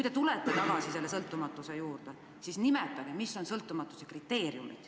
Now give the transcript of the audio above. Aga kui te jälle jõuate sõltumatuse juurde, siis nimetage, mis on sõltumatuse kriteeriumid.